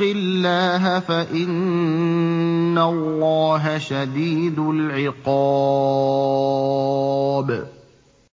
اللَّهَ فَإِنَّ اللَّهَ شَدِيدُ الْعِقَابِ